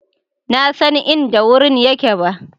na San inda wurin yake ba.